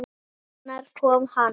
En hvenær kom hann?